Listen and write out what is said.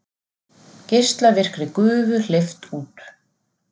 Geislavirkri gufu hleypt út